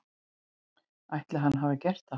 Ætli hann hafi gert það?